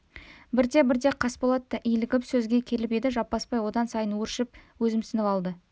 бірте-бірте қасболат та илігіп сөзге келіп еді жаппасбай одан сайын өршіп өзімсініп алды